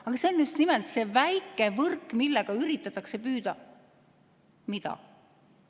Aga see on just nimelt see väike võrk, millega üritatakse püüda – mida?